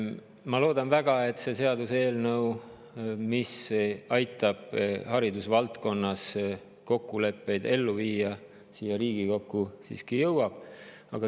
Ma loodan väga, et see seaduseelnõu, mis aitab haridusvaldkonna kokkuleppeid ellu viia, siia Riigikokku siiski jõuab.